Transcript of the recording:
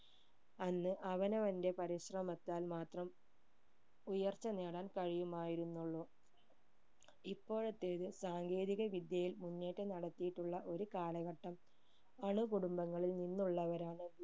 അന്ന് അവനവന്റെ പരിശ്രമത്താൽ മാത്രം ഉയർച്ച നേടാൻ കഴിയുമായിരുന്നുള്ളൂ ഇപ്പോഴത്തെ ഒരു സാങ്കേതിക വിദ്യയിൽ മുന്നേറ്റം നടത്തിയിട്ടുള്ള ഒരു കാലഘട്ടം. അണുകുടുംബങ്ങളിൽ നിന്നുള്ളവരാണ്